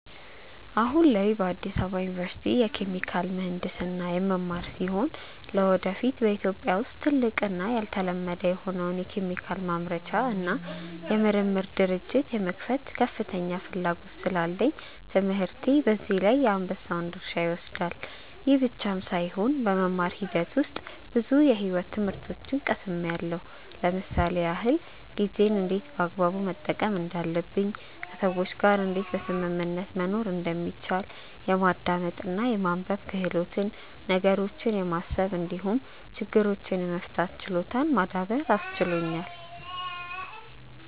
አሁን ላይ በአዲስ አበባ ዩኒቨርሲቲ የኬሚካል ምሕንድስና የምማር ሲሆን ለወደፊት በኢትዮጵያ ውስጥ ትልቅ እና ያልተለመደ የሆነውን የኬሚካል ማምረቻ እና የምርምር ድርጅት የመክፈት ከፍተኛ ፍላጎት ስላለኝ ትምህርቴ በዚህ ላይ የአንበሳውን ድርሻ ይወስዳል። ይህ ብቻም ሳይሆን በመማር ሂደት ውስጥ ብዙ የሕይወት ትምህርቶችን ቀስምያለው ለምሳሌ ያክል፦ ጊዜን እንዴት በአግባቡ መጠቀም እንዳለብኝ፣ ከሰዎች ጋር እንዴት በስምምነት መኖር እንደሚቻል፣ የማዳመጥ እና የማንበብ ክህሎትን፣ ነገሮችን የማሰብ እንዲሁም ችግሮችን የመፍታት ችሎታን ማዳበር አስችሎኛል።